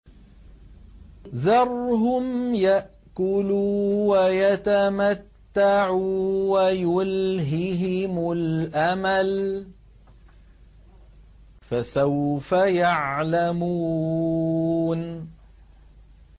ذَرْهُمْ يَأْكُلُوا وَيَتَمَتَّعُوا وَيُلْهِهِمُ الْأَمَلُ ۖ فَسَوْفَ يَعْلَمُونَ